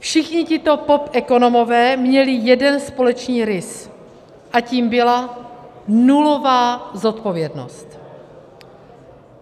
Všichni tito popekonomové měli jeden společný rys a tím byla nulová zodpovědnost.